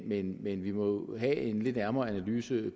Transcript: men men vi må jo have en lidt nærmere analyse